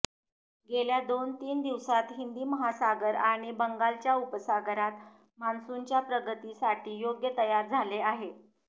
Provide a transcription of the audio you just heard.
गेल्या दोन तीन दिवसात हिंदी महासागर आणि बंगालच्या उपसागरात मान्सूनच्या प्रगतीसाठी योग्य तयार झाले आहे